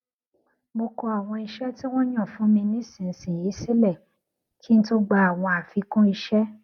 mo kọ àwọn iṣé tí wón yàn fún mi nísinsìnyí sílè kí n tó gba àwọn àfikún iṣẹ